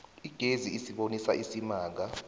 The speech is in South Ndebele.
igezi isibonisa isimanga